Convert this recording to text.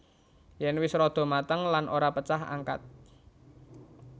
Yen wis rada mateng lan ora pecah angkat